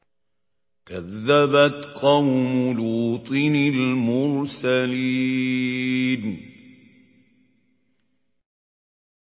كَذَّبَتْ قَوْمُ لُوطٍ الْمُرْسَلِينَ